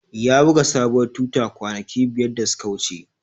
Ya buga sabuwar tuta kwanaki biyar da suka wuce.